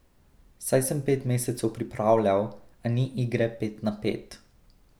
Saj sem pet mesecev pripravljal, a ni igre pet na pet.